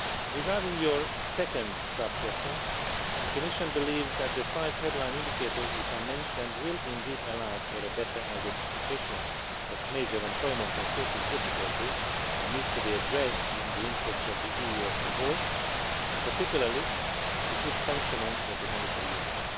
Regarding your second sub question, the Commission believes that the five headline indicators which I mentioned will indeed allow for better identification of major employment and social difficulties that need to be addressed in the interest of the EU as a whole and, particularly, the sound functioning of monetary union.